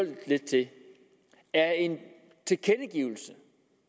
er en tilkendegivelse